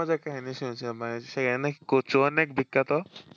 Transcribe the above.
একটা মজার কাহিনী শুনছিলাম মানে সেখানে নাকি কচু অনেক বিখ্যাত।